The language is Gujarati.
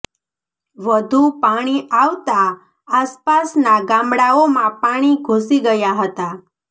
વધું પાણી આવતા આસપાસના ગામડાઓમાં પાણી ઘૂંસી ગયા હતા